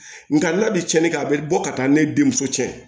Nka n'a bi cɛnni kɛ a bi bɔ ka taa ne denmuso cɛ